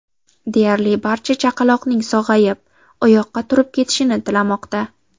Deyarli barcha chaqaloqning sog‘ayib, oyoqqa turib ketishini tilamoqda.